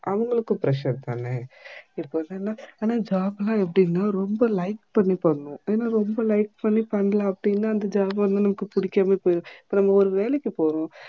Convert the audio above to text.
அவங்களுக்கு pressure தானே எப்போ என்னனா அனா job ஆ என்னனா ரொம்ப like பண்ணி பண்ணனும். ஏன்னா ரொம்ப like பண்ணி பண்ணல அப்டினா அந்த job நமபிக்கு புடிக்கவே புடிக்காது இப்போ நம்ப ஒரு வேலைக்கு போறோம்